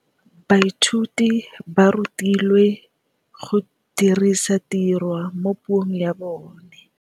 Baithuti ba rutilwe go dirisa tirwa mo puong ya bone.